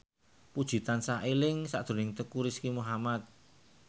Puji tansah eling sakjroning Teuku Rizky Muhammad